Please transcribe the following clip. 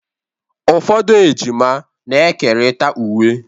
Ụfọdụ ejima na-ekerịta uwe